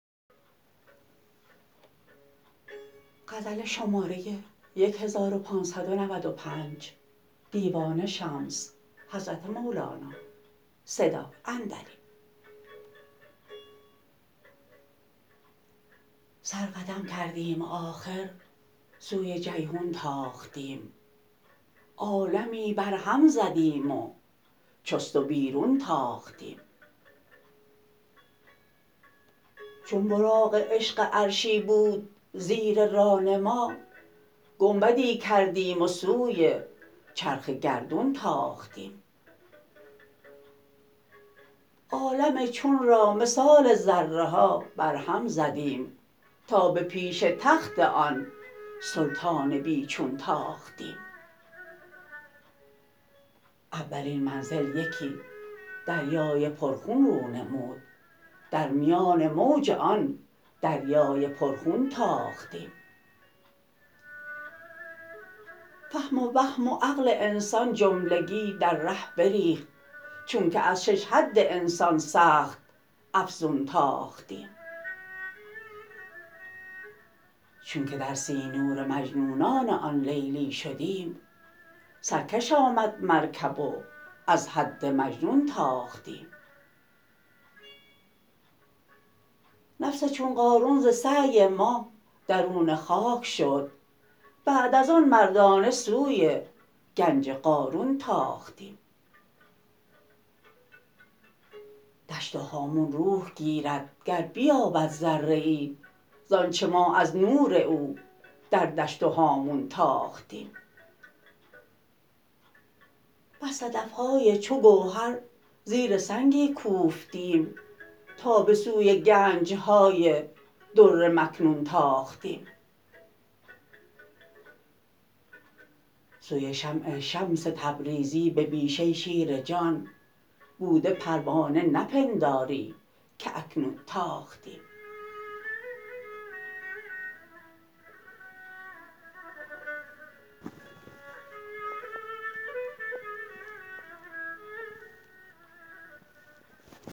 سر قدم کردیم و آخر سوی جیحون تاختیم عالمی برهم زدیم و چست و بیرون تاختیم چون براق عشق عرشی بود زیر ران ما گنبدی کردیم و سوی چرخ گردون تاختیم عالم چون را مثال ذره ها برهم زدیم تا به پیش تخت آن سلطان بی چون تاختیم فهم و وهم و عقل انسان جملگی در ره بریخت چونک از شش حد انسان سخت افزون تاختیم چونک در سینور مجنونان آن لیلی شدیم سرکش آمد مرکب و از حد مجنون تاختیم نفس چون قارون ز سعی ما درون خاک شد بعد از آن مردانه سوی گنج قارون تاختیم دشت و هامون روح گیرد گر بیابد ذره ای ز آنچ ما از نور او در دشت و هامون تاختیم بس صدف های چو گوهر زیر سنگی کوفتیم تا به سوی گنج های در مکنون تاختیم سوی شمع شمس تبریزی به بیشه شیر جان بوده پروانه نپنداری که اکنون تاختیم